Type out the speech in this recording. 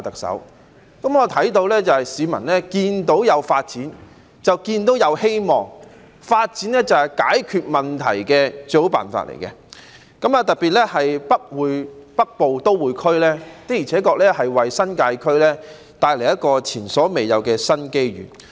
市民看見有發展便有希望，發展是解決問題的最好辦法，特別是北部都會區的而且確為新界區帶來前所未有的新機遇。